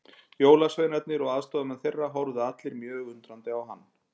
Jólasveinarnir og aðstoðarmenn þeirra horfðu allir mjög undrandi á hann.